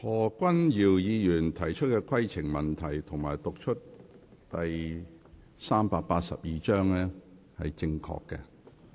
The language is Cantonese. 何君堯議員提出的規程問題，以及他讀出第382章的條文是正確的。